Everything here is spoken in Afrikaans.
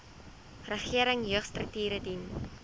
regering jeugstrukture dien